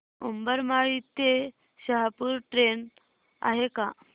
उंबरमाळी ते शहापूर ट्रेन आहे का